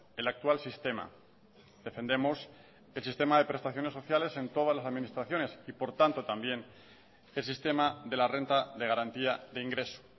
el actual sistema defendemos el sistema de prestaciones sociales en todas las administraciones y por tanto también el sistema de la renta de garantía de ingreso